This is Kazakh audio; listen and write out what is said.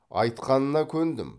айтқанына көндім